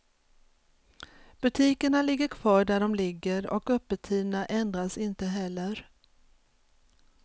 Butikerna ligger kvar där de ligger och öppettiderna ändras inte heller.